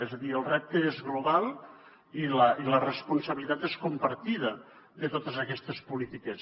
és a dir el repte és global i la responsabilitat és compartida de totes aquestes polítiques